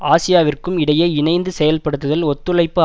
ஆசியாவிற்கும் இடையே இணைந்து செயல்படுத்துதல் ஒத்துழைப்பு